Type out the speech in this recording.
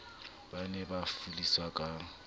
ba ne ba falliswa ka